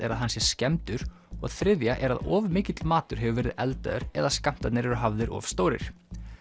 er að hann sé skemmdur og þriðja er að of mikill matur hefur verið eldaður eða skammtarnir eru hafðir of stórir